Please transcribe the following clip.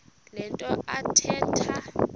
le nto athetha